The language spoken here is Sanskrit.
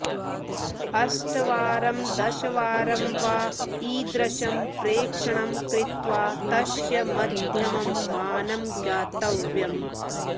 अष्टवारं दशवारं वा ईदृशं प्रेक्षणं कृत्वा तस्य मघ्यमं मानं ज्ञातव्यम्